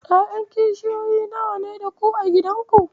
Ƴaƴan kishiyoyi nawa ne da ku a gidanku?